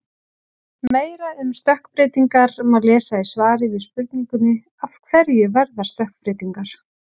Meira um stökkbreytingar má lesa í svari við spurningunni: Af hverju verða stökkbreytingar?